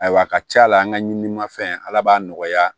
Ayiwa a ka ca la an ka ɲini mafɛn ala b'a nɔgɔya